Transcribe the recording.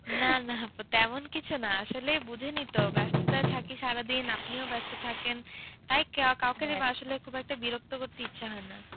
না না আপু তেমন কিছু না, আসলে বোঝেনি তো? ব্যস্ততায় থাকি সারাদিন। আপনিও ব্যস্ত থাকেন। তাই কা কাউকে আসলে খুব একটা বিরক্ত করতে ইচ্ছে হয় না।